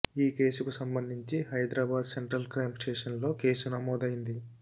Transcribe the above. ఈ కేసుకు సంబంధించి హైదరాబాద్ సెంట్రల్ క్రైమ్ స్టేషన్లో కేసు నమోదైంది